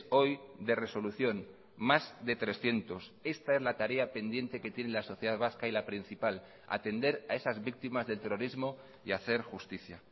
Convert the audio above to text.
hoy de resolución más de trescientos esta es la tarea pendiente que tiene la sociedad vasca y la principal atender a esas víctimas del terrorismo y hacer justicia